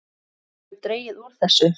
Það hefur dregið úr þessu.